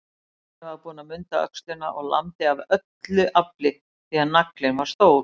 Svenni var búinn að munda öxina og lamdi af öllu afli, því naglinn var stór.